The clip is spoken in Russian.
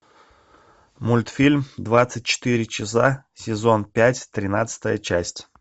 мультфильм двадцать четыре часа сезон пять тринадцатая часть